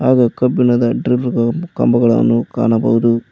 ಹಾಗೂ ಕಬ್ಬಿಣದ ಡ್ರಿಲ್ ಗಳನ್ನು ಕಂಬಗಳನ್ನು ಕಾಣಬಹುದು.